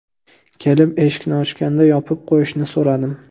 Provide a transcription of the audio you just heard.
Kelib, eshikni ochganda yopib qo‘yishini so‘radim.